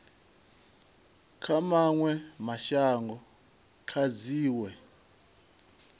kha mawe mashango kha dziwe